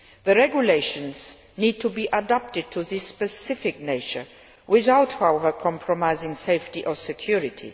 The regulations need to be adapted to this specific nature, without, however, compromising safety or security.